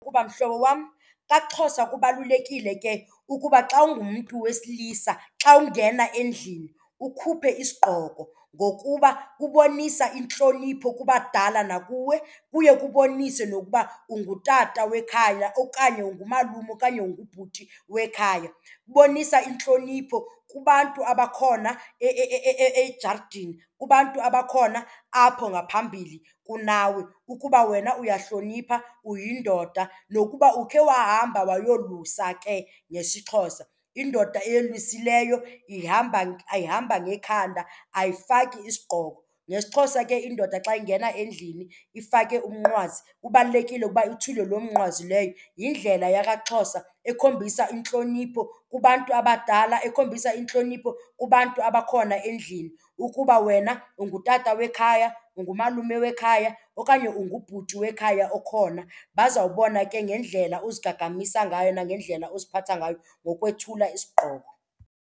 Ukuba mhlobo wam, kwaXhosa kubalulekile ke ukuba xa ungumntu wesilisa xa ungena endlini ukhuphe isigqoko ngokuba kubonisa intlonipho kubadala nakuwe kuye kubonise nokuba ungutata wekhaya okanye ngumalume okanye ngubhuti wekhaya. Kubonisa intlonipho kubantu abakhona ejaridini, kubantu abakhona apho ngaphambili kunawe ukuba wena uyahlonipha uyindoda. Nokuba ukhe wahamba wayolusa ke ngesiXhosa, indoda eyolusileyo ihamba ayihamba ngekhanda ayifaki isigqoko. NgesiXhosa ke indoda xa ingena endlini ifake umnqwazi kubalulekile ukuba ithule loo mnqwazi leyo, yindlela yakaXhosa ekhombisa intlonipho kubantu abadala ekhombisa intlonipho kubantu abakhona endlini ukuba wena ungutata wekhaya, ungumalume wekhaya okanye ungubhuti wekhaya okhona. Bazawubona ke ngendlela ozigagamisa ngayo nangendlela oziphatha ngayo ngokwethula isigqoko.